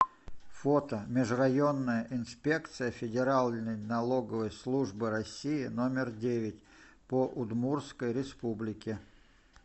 фото межрайонная инспекция федеральной налоговой службы россии номер девять по удмуртской республике